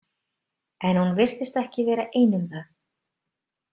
En hún virtist ekki vera ein um það.